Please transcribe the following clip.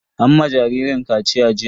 An ma jaririn kaciya jiya.